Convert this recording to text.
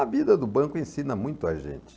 A vida do banco ensina muito a gente.